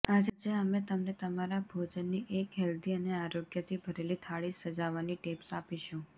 આજે અમે તમને તમારા ભોજનની એક હેલ્દી અને આરોગ્યથી ભરેલી થાળી સજાવવાની ટીપ્સ આપીશું